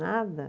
Nada.